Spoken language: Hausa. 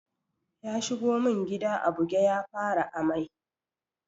Ya shigo mun gida a buge ya fara ammai.